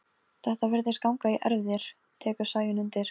Gerður brosti en svo varð hún alvarleg.